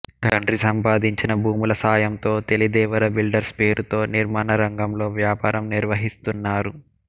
తండ్రి సంపాదించిన భూముల సాయంతో తెలిదేవర బిల్డర్స్ పేరుతో నిర్మాణ రంగంలో వ్యాపారం నిర్వహిస్తున్నారు